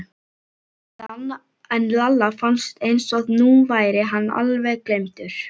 En Lalla fannst eins og nú væri hann alveg gleymdur.